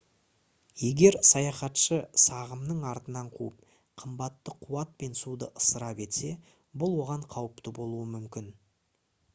егер саяхатшы сағымның артынан қуып қымбатты қуат пен суды ысырап етсе бұл оған қауіпті болуы мүмкін